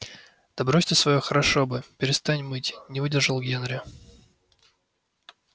да брось ты своё хорошо бы перестань мыть не выдержал генри